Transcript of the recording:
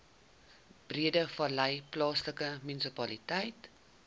breedevallei plaaslike munisipaliteit